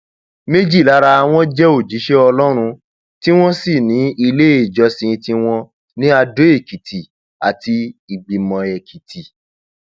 méjì lára wọn jẹ òjíṣẹ ọlọrun tí wọn sì ní iléèjọsìn tiwọn ní adoekìtì àti ìgbìmọẹkìtì